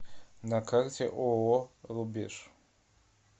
на карте ооо рубеж